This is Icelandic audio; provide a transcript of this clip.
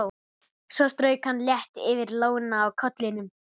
Svo strauk hann létt yfir lóna á kollinum.